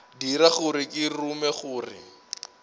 dira gore ke rume gore